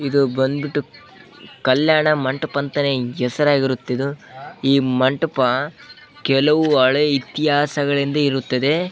ಇದು ಬಂದ್ಬಿಟ್ಟು ಕಲ್ಯಾಣ ಮಂಟಪ ಅಂತ ಹೆಸರಾಗಿರುತ್ತೆ ಇದು ಈ ಮಂಟಪ ಕೆಲವು ಇತಿಹಾಸಗಳಿಂದ ಇರುತ್ತದೆ.